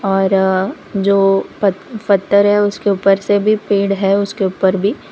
और जो पत्थर है उसके ऊपर से भी पेड़ है उसके ऊपर भी--